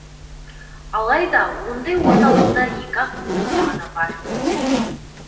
алайда ондай орталықтар екі ақ өңірде ғана бар екен